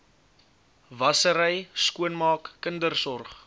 wassery skoonmaak kindersorg